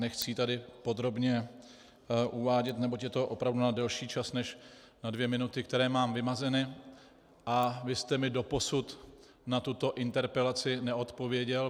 Nechci ji tady podrobně uvádět, neboť je to opravdu na delší čas než na dvě minuty, které mám vymezeny, a vy jste mi doposud na tuto interpelaci neodpověděl.